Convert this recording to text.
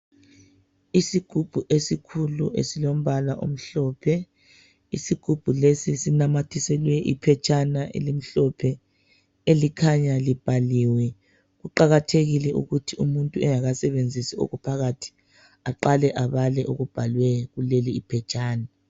Isigubhu esikhulu esilombala omhlophe, isigubhu lesi sinamathiselwe iphetshana elimhlophe elikhanya libhaliwe, kuqakathekile ukuthi umuntu engakasebenzisi okuphakathi aqale abale okubhalwe kuleli iphetshana.